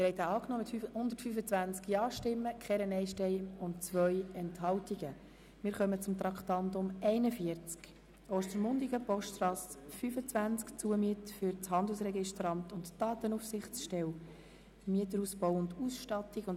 Sie haben diesen Verpflichtungskredit angenommen mit 125 Ja- gegen 0 Nein-Stimmen bei 2 Enthaltungen.